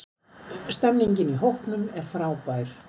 Stemmingin í hópnum er frábær.